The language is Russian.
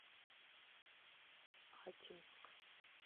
ачинск